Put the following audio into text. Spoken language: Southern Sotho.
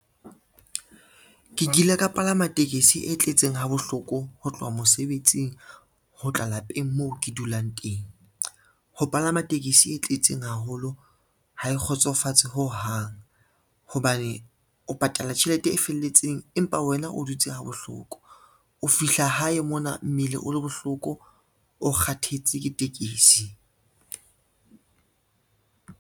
Ke kile ka palama tekesi e tletseng ha bohloko ho tloha mosebetsing ho tla lapeng moo ke dulang teng. Ho palama tekesi e tletseng haholo ha e kgotsofatse ho hang, hobane o patala tjhelete e felletseng empa wena o dutse ha bohloko, o fihla hae mona mmele o le bohloko, o kgathetse ke tekesi.